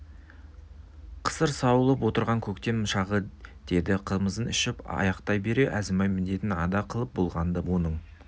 қысыр сауылып отырған көктем шағы деді қымызын ішіп аяқтай бере әзімбай міндетін ада қылып болған-ды оның